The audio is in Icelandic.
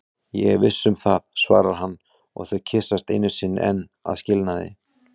Ég er viss um það, svarar hann og þau kyssast einu sinni enn að skilnaði.